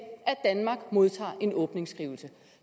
danmark modtager en åbningsskrivelse